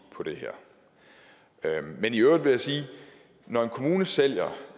på det her men i øvrigt vil jeg sige at når en kommune sælger